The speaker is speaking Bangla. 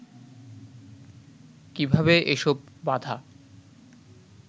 কীভাবে এসব বাধা